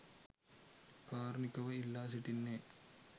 කාරුණිකව ඉල්ලා සිටින්නේ